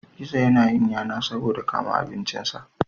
Gizo ya na yin yana saboda ya kama abincin sa